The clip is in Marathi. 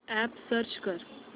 अॅप सर्च कर